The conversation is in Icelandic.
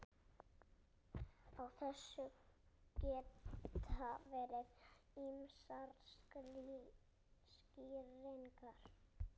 Á þessu geta verið ýmsar skýringar.